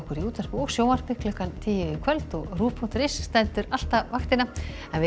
í útvarpi og sjónvarpi klukkan tíu í kvöld og ruv punktur is stendur alltaf vaktina við